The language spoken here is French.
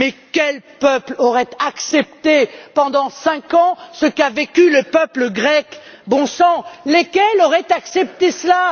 Quel peuple aurait accepté pendant cinq ans ce qu'a vécu le peuple grec, bon sang? Lesquels auraient accepté cela?